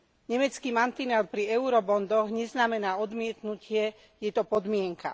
Nemecký mantinel pri Eurobondoch neznamená odmietnutie, je to podmienka.